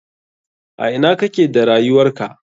A ina kake da rayuwarka?